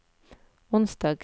onsdag